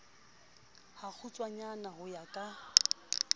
ha kgutshwanyana ho ya ka